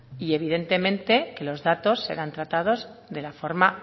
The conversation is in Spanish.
y evidentemente que los datos serán tratados de la forma